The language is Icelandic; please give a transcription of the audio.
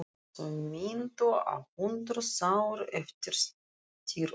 Þau minntu á hrúðruð sár eftir styrjöldina.